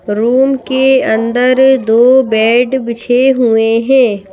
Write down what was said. Room के अंदर दो बेड बिछे हुए हैं।